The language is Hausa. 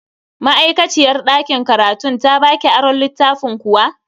Ma'aikaciyar dakin karatun ta baki aron littafin kuwa?